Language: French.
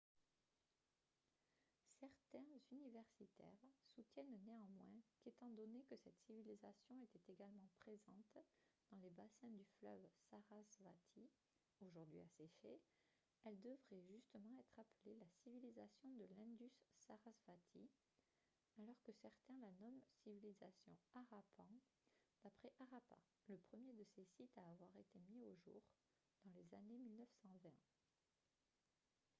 certains universitaires soutiennent néanmoins qu'étant donné que cette civilisation était également présente dans les bassins du fleuve sarasvati aujourd'hui asséché elle devrait justement être appelée la civilisation de l'indus-sarasvati alors que certains la nomment civilisation harappan d'après harappa le premier de ses sites à avoir été mis au jour dans les années 1920